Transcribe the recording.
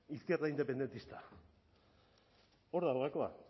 izquierda independentista hor dago gakoa